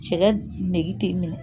Cɛ ne nege tɛ minɛ